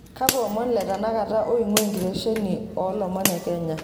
kakwa omon letanakata oingwaa kitesheni oolomon ekenya